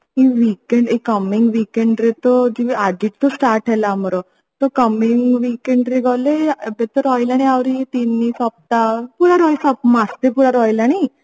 ଏଇ weekend ଏଇ coming weekend ରେ ତ ଯିବି ଆଉ ଆଜି ତ start ହେଲା ଆମର ତ coming weekend ରେ ଏବେ ରହିଲାଣି ଆହୁରି ତିନି ସପ୍ତାହ ପୁରା ମାସେ ପୁରା ରହିଲାଣି